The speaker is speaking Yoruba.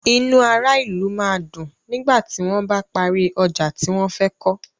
Inú ará ìlú máa dùn nígbà tí wón bá parí ọjà tí wón fẹ́ kọ́.